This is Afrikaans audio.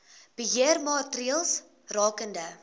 beheer maatreëls rakende